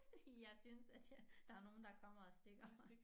Fordi jeg synes at jeg der nogen der kommer og stikker mig